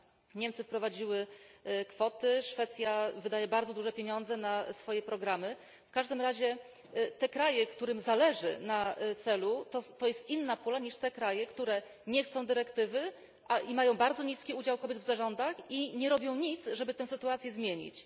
Niemcy wprowadziły kwoty, Szwecja wydaje bardzo duże pieniądze na swoje programy, w każdym razie te kraje, którym zależy na celu, to jest inna pula niż te kraje, które nie chcą dyrektywy, a mają bardzo niski udział kobiet w zarządach i nie robią nic, żeby tę sytuację zmienić.